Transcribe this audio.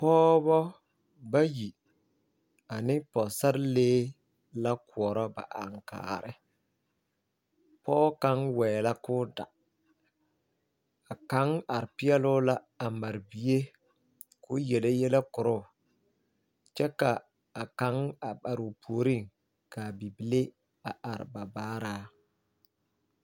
Pɔɔbɔ bayi ane pɔgesarelee la koɔrɔ ba aŋkaare pɔge kaŋa waɛ la k'o da a kaŋ are peɛle o la a bie o yele yɛlɛ koro o kyɛ ka a kaŋ are o puoriŋ ka a bibile are a baara.